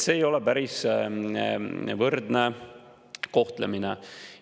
See ei ole päris võrdne kohtlemine.